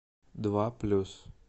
два плюс